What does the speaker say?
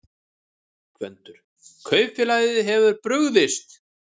GVENDUR: Kaupfélagið hefur brugðist.